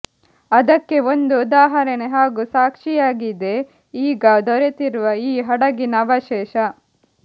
ಅದಕ್ಕೆ ಒಂದು ಉದಾಹರಣೆ ಹಾಗೂ ಸಾಕ್ಷಿಯಾಗಿದೆ ಈಗ ದೊರೆತಿರುವ ಈ ಹಡಗಿನ ಅವಶೇಷ